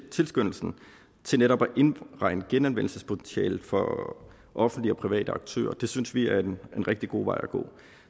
tilskyndelsen til netop at indregne genanvendelsespotentialet for offentlige og private aktører og det synes vi er en rigtig god vej at gå